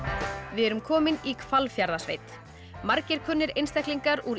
við erum komin í Hvalfjarðarsveit margir kunnir einstaklingar úr